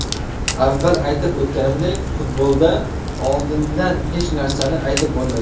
Avval aytib o‘tganimdek, futbolda oldindan hech narsani aytib bo‘lmaydi.